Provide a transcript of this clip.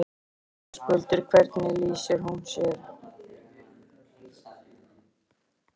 Höskuldur: Hvernig lýsir hún sér?